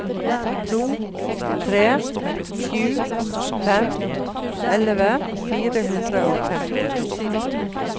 to tre sju fem elleve fire hundre og femtito